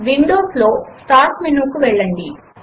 Windows లో start menu కు వెళ్ళండి